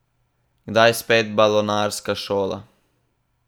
Kdaj spet balonarska šola?